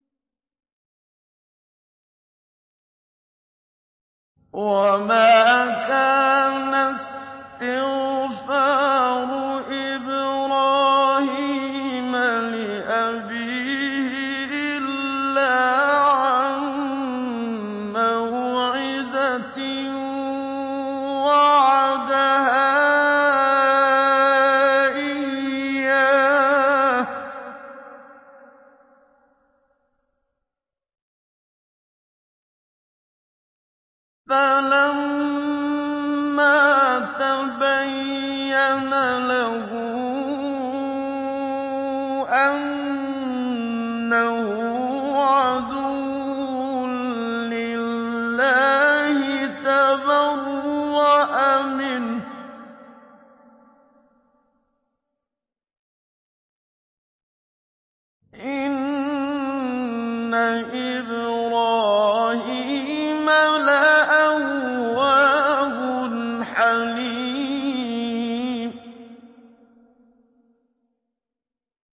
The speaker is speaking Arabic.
وَمَا كَانَ اسْتِغْفَارُ إِبْرَاهِيمَ لِأَبِيهِ إِلَّا عَن مَّوْعِدَةٍ وَعَدَهَا إِيَّاهُ فَلَمَّا تَبَيَّنَ لَهُ أَنَّهُ عَدُوٌّ لِّلَّهِ تَبَرَّأَ مِنْهُ ۚ إِنَّ إِبْرَاهِيمَ لَأَوَّاهٌ حَلِيمٌ